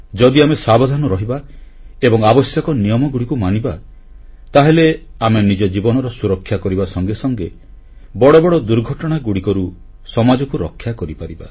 ଯଦି ଆମେ ସାବଧାନ ରହିବା ଏବଂ ଆବଶ୍ୟକ ନିୟମଗୁଡ଼ିକୁ ମାନିବା ତାହେଲେ ଆମେ ନିଜ ଜୀବନର ସୁରକ୍ଷା କରିବା ସଙ୍ଗେ ସଙ୍ଗେ ବଡ଼ ବଡ଼ ଦୁର୍ଘଟଣାଗୁଡ଼ିକରୁ ସମାଜକୁ ରକ୍ଷା କରିପାରିବା